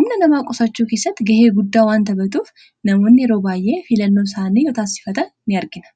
humna namaa qosachuu keessatti gahee guddaa waan tapatuuf namoonni yeroo baay'ee filannoo isaanii yoo taassifata in argina